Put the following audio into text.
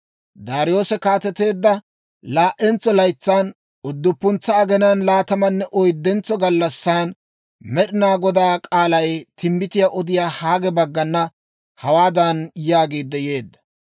Daariyoose kaateteedda laa"entso laytsan, udduppuntsa aginaan laatamanne oyddentso gallassan Med'inaa Godaa k'aalay timbbitiyaa odiyaa Haage baggana hawaadan yaagiid yeedda;